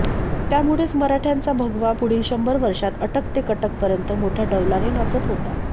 त्यामुळेच मराठय़ांचा भगवा पुढील शंभर वर्षात अटक ते कटकपर्यंत मोठया डौलाने नाचत होता